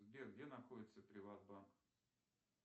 сбер где находится приват банк